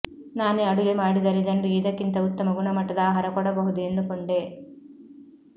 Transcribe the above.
ನಾನೇ ಅಡುಗೆ ಮಾಡಿದರೆ ಜನರಿಗೆ ಇದಕ್ಕಿಂತ ಉತ್ತಮ ಗುಣಮಟ್ಟದ ಆಹಾರ ಕೊಡಬಹುದು ಎಂದುಕೊಂಡೆ